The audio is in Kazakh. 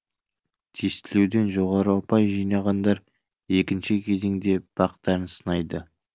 тестілеуден жоғары ұпай жинағандар екінші кезеңде бақтарын сынайды